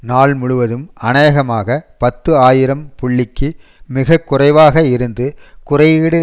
நாள் முழுவதும் அநேகமாக பத்து ஆயிரம் புள்ளிக்கு மிக குறைவாக இருந்த குறியீடு